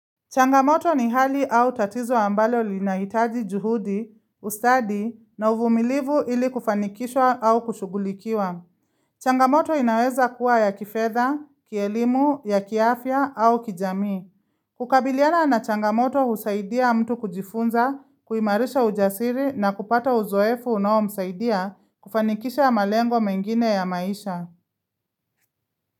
Changamoto ni hali au tatizo ambalo linaitaji juhudi, ustadi na uvumilivu ili kufanikishwa au kushugulikiwa. Changamoto inaweza kuwa ya kifetha, kielimu, ya kiafya au kijami. Kukabiliana na changamoto husaidia mtu kujifunza, kuimarisha ujasiri na kupata uzoefu unao msaidia kufanikisha malengo mengine ya maisha.